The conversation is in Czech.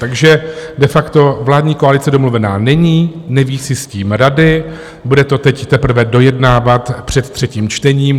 Takže de facto vládní koalice domluvená není, neví si s tím rady, bude to teď teprve dojednávat před třetím čtením.